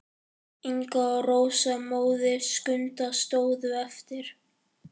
Inga og Rósa, móðir Skunda, stóðu eftir.